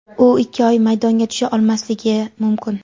U ikki oy maydonga tusha olmasligi mumkin.